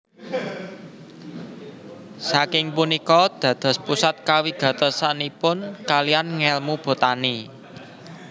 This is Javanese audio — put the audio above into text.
Saking punika dados pusat kawigatosanipun kalihan ngèlmu botani